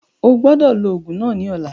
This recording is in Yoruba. Ogbọ́dọ̀ lò òògùn náà ní ọ̀la